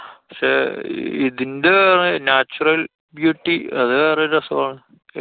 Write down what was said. പക്ഷെ ഇതിന്‍റെ natural beauty അത് വേറൊരു രസാണ്.